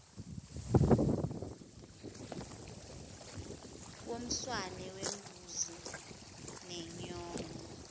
yomswane wembuzi nenyongo